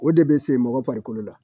O de bɛ se mɔgɔ farikolo la